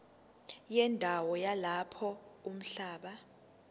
wendawo yalapho umhlaba